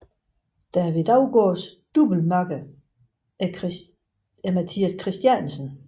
David Daugaards doublemakker er Mathias Christiansen